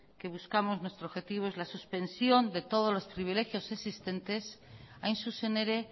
que buscamos nuestro objetivo es la suspensión de todos los privilegios existentes hain zuzen ere